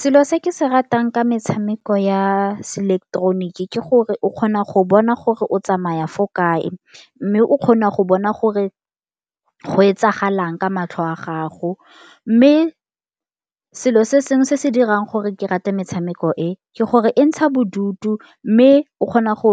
Selo se ke se ratang ka metshameko ya seileketoroniki ke gore o kgona go bona gore o tsamaya fo kae, mme o kgona go bona gore go e itsagalang ka matlho wa gago. Mme selo se sengwe se se dirang gore ke rate metshameko e ke gore e ntsha bodutu, mme o kgona go